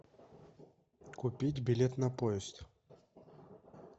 купить билет на поезд